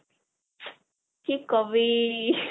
কি কবি